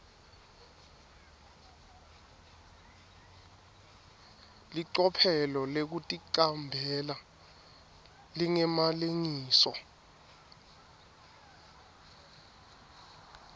licophelo lekuticambela lingemalengiso